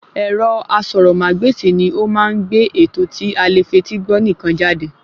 Ẹ̀rọ asọ̀rọ̀-mágbèsì ni ó má ń gbé ètò tí alè fetí gbọ́ nìkan jáde